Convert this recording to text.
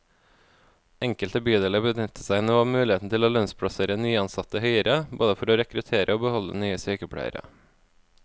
Enkelte bydeler benytter seg nå av muligheten til å lønnsplassere nyansatte høyere, både for å rekruttere og beholde nye sykepleiere.